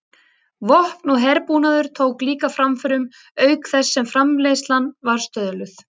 Vopn og herbúnaður tók líka framförum auk þess sem framleiðslan var stöðluð.